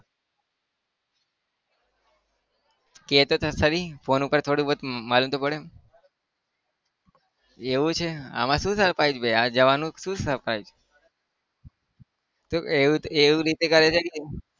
કહેતો તો ખરી phone ઉપર થોડું बहुत मालूम તો પડે એવું છે આમાં શું surprise ભાઈ આ જવાનું શું surprise તો એવું એવી રીતે કરે છે કે